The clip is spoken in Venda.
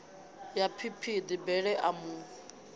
ya phiphiḓi bele a mu